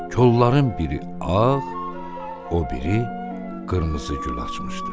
Kolların biri ağ, o biri qırmızı gül açmışdı.